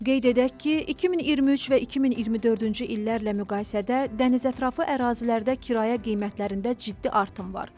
Qeyd edək ki, 2023 və 2024-cü illərlə müqayisədə dəniz ətrafı ərazilərdə kirayə qiymətlərində ciddi artım var.